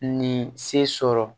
Nin se sɔrɔ